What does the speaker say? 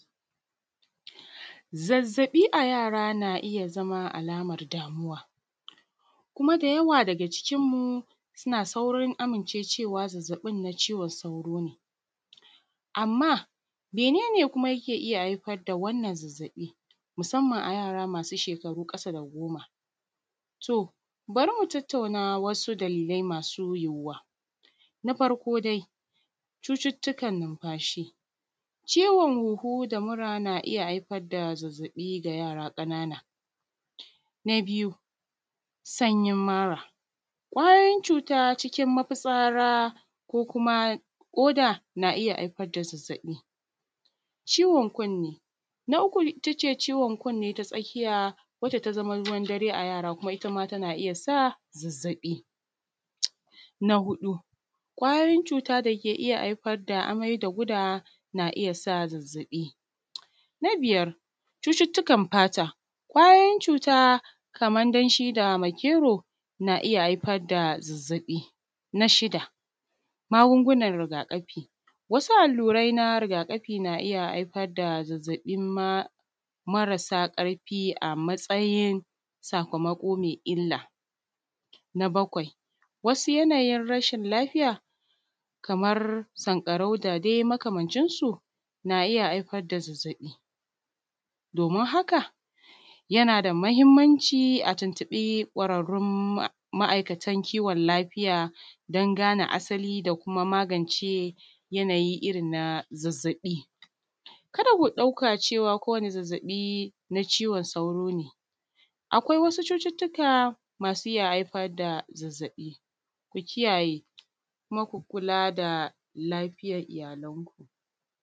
Zazzabi a yara na iya zama alamar damuwa, kuma da yawa daga cikin mu suna saurin amincewa da yawa zazzabin cizon saurono. Amma mene ne kuma ke iya haifar da wannan zazzabi musamman a yara masu shekaru ƙasa da goma? To, bari mu tattauna wasu dalilai masu yuyuwa na farko dai cututtukan numfashi, ciwon huhu da mura na iya haifar da zazzabi ga yara ƙanana, na biyu sanyi mara, kwayoyin cuta cikin mafitsara ko kuma ƙoda na iya haifar da zazzabi, ciwon kunni, na uku ita ce ciwon kunni ta tsakiya wanda ta zama ruwan dare a yara, kuma ita ma tana iya sa zazzabi. Na huɗu kwayoyin cuta da ke iya haifar da amai da gudawa na iya sa zazzabi, na biyar cututtukan fata, kwayoyin cuta kamar danshi da makero na iya hafar da zazzabi, na shida magungunan rigakafi wasu allurai na rigakafi na iya haifar da zazzabinma marasa ƙarfi a matsayin sakamako me illa, na bakwai wasu yanayin rashin lafiya kamar sanƙarau da dai makamancinsu na iya haifar da zazzabi domin haka yana da mahinmanci a tuntuɓi kwararraun masana kiwon lafiya dan gane asali da kuma magance yanayi irin na zazzabi kada ku ɗauka cewa ko wani zazzabi na cizon sauro ne akwai. Wasu cututtuka masu iya haifar da zazzabi ku kiyaye kuma ku kula da lafiyar iyalanku.